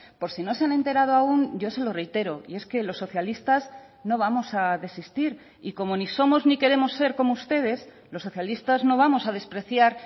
por si no se han enterado aun yo se lo reitero y es que los socialistas no vamos a desistir y como ni somos ni queremos ser como ustedes los socialistas no vamos a despreciar